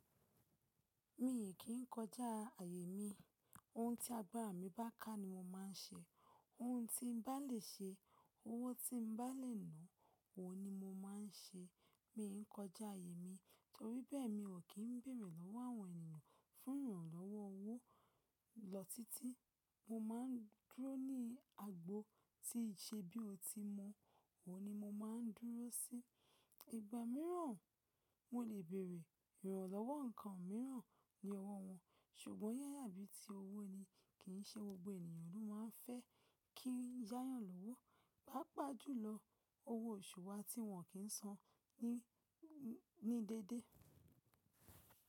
Mi kìn kọjá àyè mi, ohun tí agbára mi bá ká ni mo máa ń ṣe. Oun tí n bá lè ṣe, owó tí n bá lè ná, òun ni mo máa ń ṣe. Mi n kọjá àyè mi torí bẹ́ẹ̀ mi ò kí ń bèrè lọ́wọ́ àwọn ènìyàn fún ìrànlọ́wọ́ owó lọ títí. Mo ma n dúró ní agbo tín ṣe bí ó ti mọ, òun ni mo ma n dúró sí. Ìgbà mìíràn mo lè bèrè ìrànlọ́wọ́ nǹkan mìíràn ní ọwọ́ wọn, ṣùgbọ́n ya ya bí ti owó ni kìn ṣe gbogbo ènìyàn ló máa ń fẹ́ kí ya yan lówó, pàápàá jùlọ owó oṣù wa tí wọ́n kìn san ní, ní déédéé.